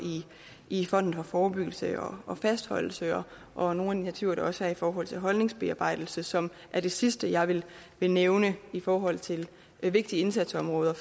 i fonden for forebyggelse og fastholdelse og nogle af de initiativer der også er i forhold til holdningsbearbejdelse som er det sidste jeg vil nævne i forhold til vigtige indsatsområder